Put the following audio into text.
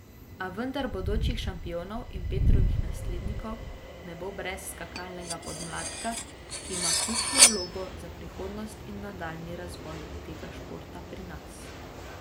A vendar bodočih šampionov in Petrovih naslednikov ne bo brez skakalnega podmladka, ki ima ključno vlogo za prihodnost in nadaljnji razvoj tega športa pri nas.